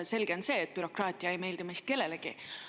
Selge on see, et bürokraatia ei meeldi meist kellelegi.